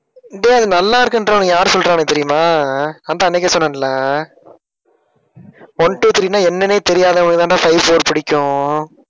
டேய் அது நல்லா யார் சொல்றாங்க தெரியுமா அஹ் நான்தான் அன்னைக்கே சொன்னேன்ல one, two, three ன்னா என்னன்னே தெரியாதவங்களுக்கு தான்டா five four பிடிக்கும்.